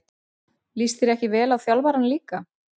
Líst þér ekki vel á þjálfarann líka?